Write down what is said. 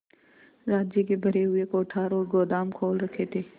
राज्य के भरे हुए कोठार और गोदाम खोल रखे थे